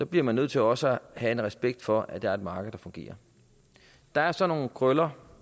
bliver man nødt til også at have en respekt for at der er et marked der fungerer der er så nogle krøller